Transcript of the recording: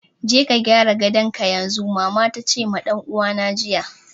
"Je ka gyara gadonka yanzu!" mama tace ma dan uwana jiya.